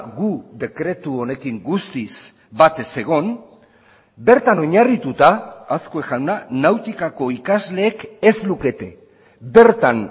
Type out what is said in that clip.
gu dekretu honekin guztiz bat ez egon bertan oinarrituta azkue jauna nautikako ikasleek ez lukete bertan